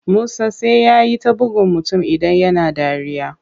Musa sai yai ta buggun mutum idan yana dariya.